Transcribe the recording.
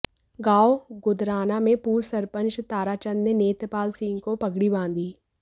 गांव गुदराना में पूर्व सरपंच ताराचंद ने नेत्रपालसिंह को पगड़ी बांधी